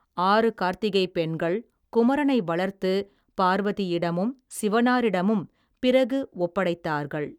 ஆறு கார்த்திகைப் பெண்கள் குமரனை வளர்த்து பார்வதியிடமும் சிவனாரிடமும் பிறகு ஒப்படைத்தார்கள்.